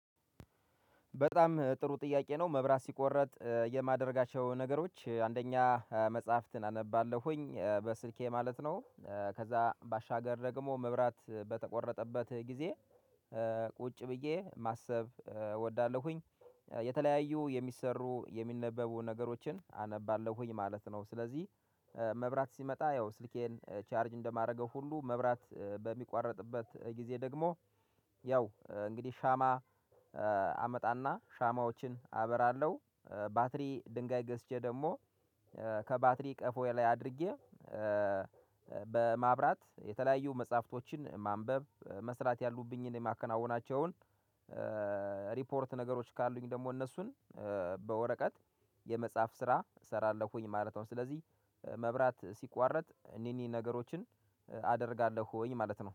በጣም ጥሩ ጥያቄ ነው መብራት ሲቆረጥ የማደርጋቸው ነገሮች አንደኛ መጽሐፍትን አነባለሁኝ በስልኬ ማለት ነው። ከዛ ባሻገር ደግሞ መብራት በተቆረጠበት ጊዜ ቁጭ ብዬ ማሰብ እወዳለሁኝ የ የተለያዩ የሚሰሩ የሚነበቡ ነገሮችን አነባለሁኝ ማለት ነው። ስለዚህ መብራት ሲመጣ ያው ስልኬን ቻርጅ እንደማደርገው ሁሉ መብራት በሚቋረጥበት ጊዜ ደግሞ ያው እንግዲህ ሻማ አመጣና ሻማዎችን አበራለሁ። ባትሪ ድንጋይ ገዝቼ ደግሞ ከባትሪ ቀፎዬ ላይ አድርጌ በማብራት የተለያዩ መጽሐፍቶችን ማንበብ መስራት ያሉብኝን የማከናውናቸውን ሪፖርት ነገሮች ካሉኝ ደግሞ እነሱን በወረቀት የመጽሐፍ ስራ እሰራለሁኝ ማለት ነው። ስለዚህ መብራት ሲቋረጥ እነኚህን ነገሮችን አደርጋለሁኝ ማለት ነው